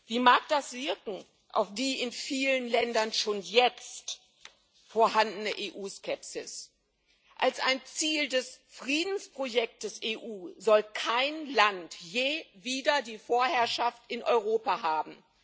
Wie mag das wirken auf die in vielen Ländern schon jetzt vorhandene EU Skepsis? Als ein Ziel des Friedensprojekts EU soll kein Land je wieder die Vorherrschaft in Europa haben.